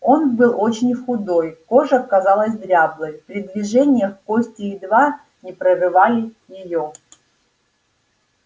он был очень худой кожа казалась дряблой при движениях кости едва не прорывали её